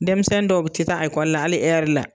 Denmisɛnnin dɔw bɛ tɛ taa ekɔli la hali ɛri la